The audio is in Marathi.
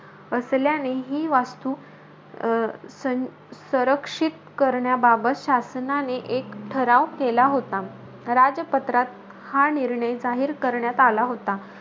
असल्याने ही वस्तू अं सं सरंक्षित करण्याबाबत, शासनाने एक ठराव केला होता. राजपत्रात, हा निर्णय जाहीर करण्यात आला होता.